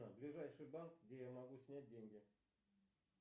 ближайший банк где я могу снять деньги